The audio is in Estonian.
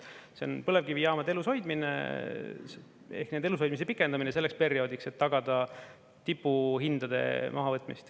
See on põlevkivijaamade elushoidmine ehk nende elushoidmise pikendamine selleks perioodiks, et tagada tipuhindade mahavõtmist.